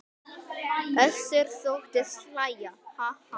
Össur þóttist hlæja: Ha ha.